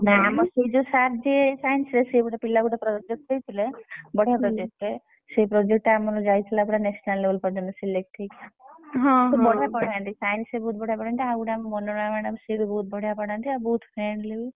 ନା ଆମ ସେ ଯୋଉ sir ଯିଏ Science ରେ ସିଏ ଗୋଟେ ପିଲାକୁ ଗୋଟେ project ଦେଇଥିଲେ ବଢିଆ project ଟେ ସିଏ project ଟା ଆମର ଯାଇଥିଲା ପୁରା national level ପର୍ଯ୍ୟନ୍ତ select ହେଇକି ସିଏ ବଢିଆ ପଢାନ୍ତି Science ବି ବହୁତ ବଢିଆ ପଢାନ୍ତି ଆଉ ଗୋଟେ ଆମ। ର ମନୋରମା madam ସିଏ ବି ବହୁତ ବଢିଆ ପଢାନ୍ତି ଆଉ ବହୁତ friendly ବି।